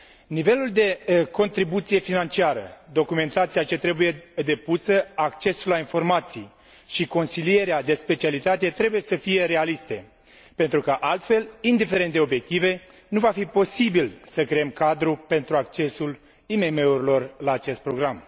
Nivelul de contribuție financiară, documentația ce trebuie depusă, accesul la informații și consilierea de specialitate trebuie să fie realiste pentru că altfel, indiferent de obiective, nu va fi posibil să creăm cadrul pentru accesul IMM urilor la acest program.